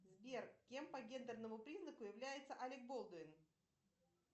сбер кем по гендерному признаку является алек болдуин